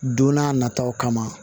Don n'a nataw kama